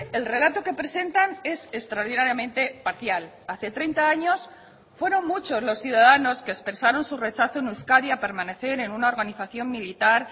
el relato que presentan es extraordinariamente parcial hace treinta años fueron muchos los ciudadanos que expresaron su rechazo en euskadi a permanecer en una organización militar